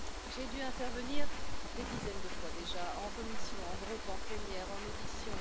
J'ai dû intervenir des dizaines de fois déjà en commission, en groupe, en plénière, en audition.